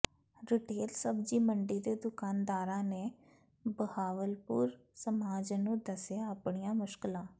retail ਸਬਜੀ ਮੰਡੀ ਦੇ ਦੁਕਾਨਦਾਰਾਂ ਨੇ ਬਹਾਵਲਪੁਰ ਸਮਾਜ ਨੂੰ ਦਸਿਆਂ ਆਪਣੀਆਂ ਮੁਸ਼ਕਲਾਂ